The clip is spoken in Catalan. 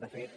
de fet